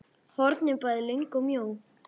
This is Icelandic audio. hornin bæði löng og mjó.